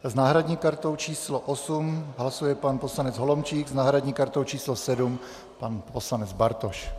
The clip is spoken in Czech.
S náhradní kartou číslo 8 hlasuje pan poslanec Holomčík, s náhradní kartou číslo 7 pan poslanec Bartoš.